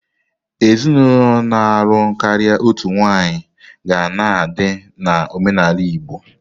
Ezinụlọ na-alụ karịa otu nwaanyị ga na-adị na omenala Igbo.